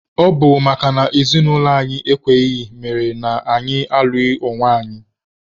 Ọ bụ makana ezinaụlọ anyị ekweghị mere na anyị alụghị onwe anyị.